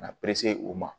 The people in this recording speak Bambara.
Ka na u ma